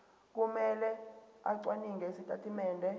kumele acwaninge izitatimende